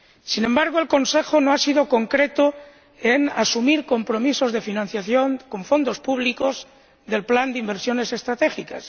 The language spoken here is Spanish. Sin embargo, el Consejo no ha sido concreto en la asunción de compromisos de financiación con fondos públicos del plan de inversiones estratégicas.